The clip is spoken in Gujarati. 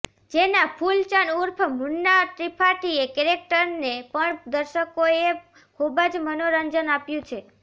જેના ફૂલચંદ ઉર્ફ મુન્ના ત્રિપાઠીના કેરેક્ટરને પણ દર્શકોએ ખૂબ જ મનોરંજન આપ્યું છે